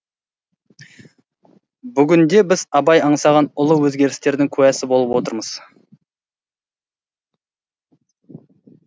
бүгінде біз абай аңсаған ұлы өзгерістердің куәсі болып отырмыз